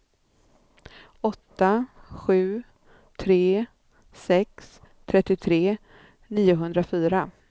åtta sju tre sex trettiotre niohundrafyra